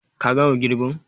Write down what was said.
Ka gama girbin?